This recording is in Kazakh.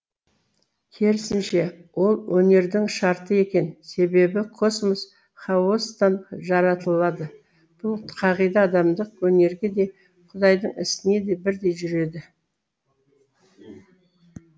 керісінше ол өнердің шарты екен себебі космос хаостан жаратылады бұл қағида адамдық өнерге де құдайдың ісіне де бірдей жүреді